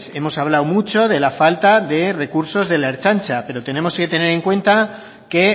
hemos hablado mucho de la falta de recursos de la ertzaintza pero tenemos que tener en cuenta que